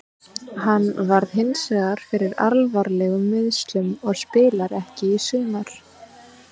Hann varð hinsvegar fyrir alvarlegum meiðslum og spilar ekki í sumar.